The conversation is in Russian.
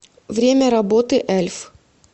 время работы эльф